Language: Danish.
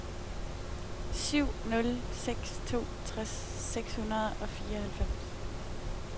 syv nul seks to tres seks hundrede og fireoghalvfems